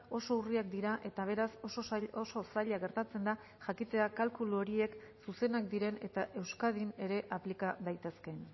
oso urriak dira eta beraz oso zaila gertatzen da jakitea kalkulu horiek zuzenak diren eta euskadin ere aplika daitezkeen